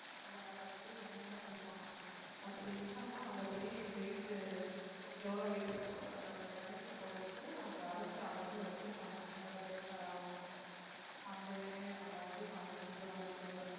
அதை அரைச்சு எண்ணெய்யா கொடுப்பாங்க அப்படி இல்லைன்னா அதை போய் weight எவ்வளவு weight இருக்கோ அதை எடைக்குப் போட்டுட்டு அங்கே அரைச்சு already வச்சிருப்பாங்க வேற தேங்காய் எல்லாம் அந்த எண்ணெயை நம்ம வந்து காசு கொடுத்து வாங்கிட்டு வந்தரலாம்